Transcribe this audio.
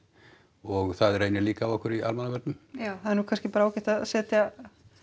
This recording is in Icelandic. og það reynir líka á okkur í almannavörnum já það er nú kannski bara ágætt að setja